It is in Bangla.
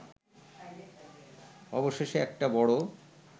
অবশেষে একটা বড়